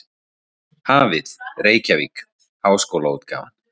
Hafið, Reykjavík: Háskólaútgáfan.